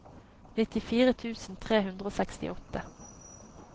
nittifire tusen tre hundre og sekstiåtte